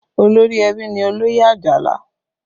Olórí ẹbí ni Oloye Ajala